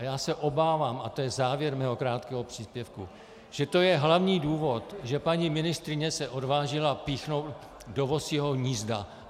A já se obávám, a to je závěr mého krátkého příspěvku, že to je hlavní důvod, že paní ministryně se odvážila píchnout do vosího hnízda.